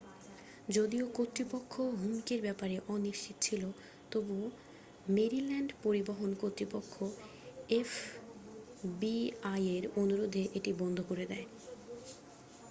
যদিও কর্তৃপক্ষ হুমকির ব্যাপারে অনিশ্চিত ছিল তবু মেরিল্যান্ড পরিবহন কর্তৃপক্ষ এফবিআইয়ের অনুরোধে এটি বন্ধ করে দেয়